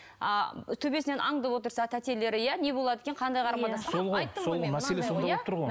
а төбесінен аңдып отырса тәтелері иә не болады екен қандай қарым қатынас